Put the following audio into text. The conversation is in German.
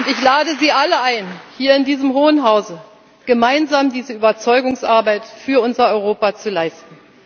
Ich lade Sie alle ein, hier in diesem Hohen Hause gemeinsam diese Überzeugungsarbeit für unser Europa zu leisten.